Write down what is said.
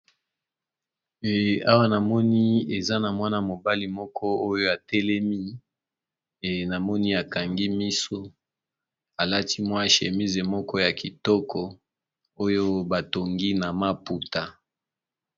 Awa na moni eza na mwana mobali moko oyo atelemi e namoni akangi miso alati mwa shémise moko ya kitoko oyo batongi na maputa.